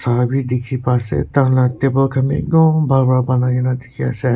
abi dekhi paise ekta laga table khan te etoh bhan bhan bonai kina dekhi ase.